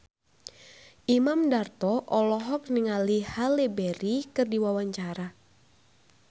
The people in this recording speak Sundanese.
Imam Darto olohok ningali Halle Berry keur diwawancara